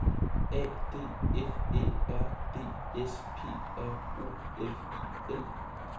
A D F Æ R D S P R O F I L